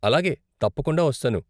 అలాగే, తప్పకుండా వస్తాను.